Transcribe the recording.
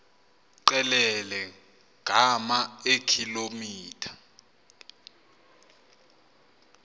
qelele ngama eekilometha